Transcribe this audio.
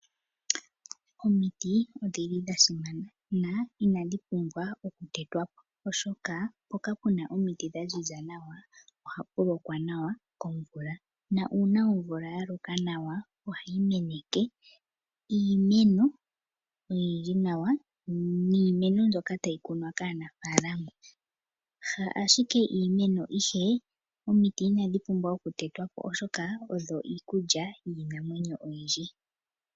Omiti odhili dha simana na inadhi pumbwa oku tetwa po oshoka mpoka puna omiti dha ziza nawa ohapu lokwa nawa komvula, na uuna oomvula ya loka nawa ohayi meneke nawa iimeno, niimeno mbyoka tayi kunwa kaanafalama, ka ashike iimeno ihe omiti inadhi pumbwa oku tetwa po, oshoka omiti odho iikulya yiinamwenyo oyindji.